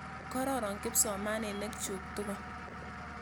Kororon kipsomaninik chuk tukul.